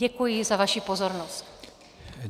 Děkuji za vaši pozornost.